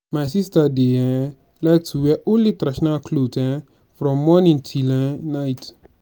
my sister dey um like to wear only traditional cloth um from morning till um night